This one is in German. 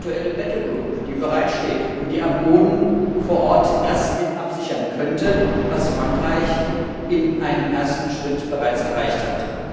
eine aktuelle Kampftruppe, die bereitsteht und die am Boden vor Ort das mit absichern könnte, was Frankreich in einem ersten Schritt bereits erreicht hat.